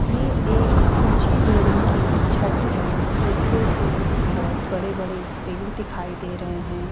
यह एक ऊंची बिल्डिंग की छत है जिस पे से बहुत बड़े-बड़े पेड़ दिखाई दे रहे हैं।